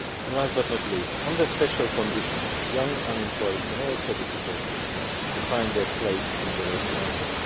Last but not least, under special conditions, young unemployed can also be supported to find their place in the labour market.